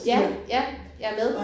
Ja ja jeg er med